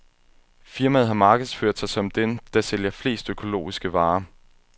Firmaet har markedsført sig som dem, der sælger flest økologiske varer.